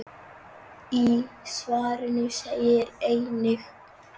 Í svarinu segir einnig